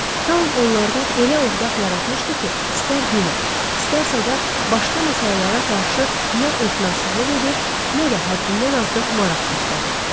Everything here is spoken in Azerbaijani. Tau onlarda elə övqət yaratmışdı ki, istər dinə, istərsə də başqa məsələlərə qarşı nə etinasızlıq edir, nə də həddindən artıq maraq göstərirdilər.